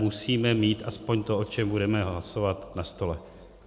Musíme mít aspoň to, o čem budeme hlasovat, na stole.